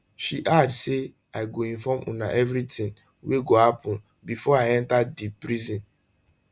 she add say i go inform una everitin wey go happun bifor i enta di prison